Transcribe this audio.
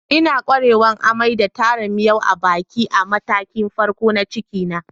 N'na kwarewan amai da taran miyo a'baki a matakin farko na ciki na.